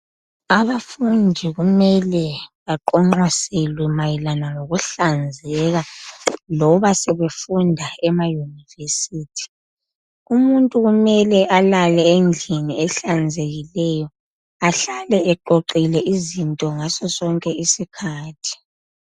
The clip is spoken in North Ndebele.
Abafundi kumele baqonqoselwe mayelana lokuhlanzeka loba sebefunda ema yuniversity. Umuntu kumele alale endlini ehlanzekileyo, ahlale eqoqile izinto ngaso sonke isikhathi